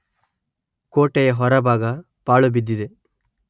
ಕೋಟೆಯ ಹೊರಭಾಗ ಪಾಳು ಬಿದ್ದಿದೆ